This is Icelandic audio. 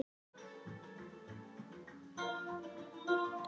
Tröllaskagi er á Norðurlandi.